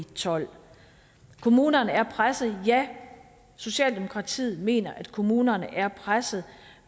tolv kommunerne er presset ja socialdemokratiet mener at kommunerne er presset